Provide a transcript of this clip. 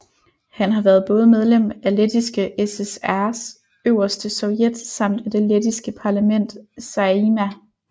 Han har været både medlem af Lettiske SSRs øverste sovjet samt af det lettiske parlament Saeima